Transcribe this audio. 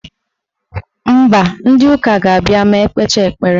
Mba, ndị ụka ga-abịa ma ekpecha ekpere.